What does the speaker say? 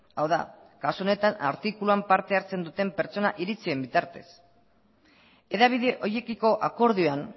hau da kasu honetan artikuluan parte hartzen duten pertsonak iritzien bitartez hedabide horiekiko akordioan